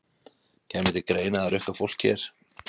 Kæmi til greina að rukka fólk hér?